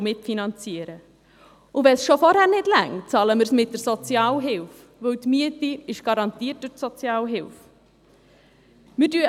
Wenn es bereits vorher nicht reicht, bezahlen wir mit der Sozialhilfe, weil die Miete durch die Sozialhilfe garantiert ist.